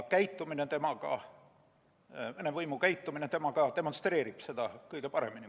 Venemaa võimude käitumine temaga demonstreerib seda kõige paremini.